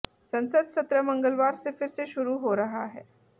संसद सत्र मंगलवार से फिर से शुरू हो रहा है